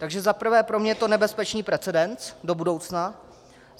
Takže za prvé pro mě je to nebezpečný precedens do budoucna.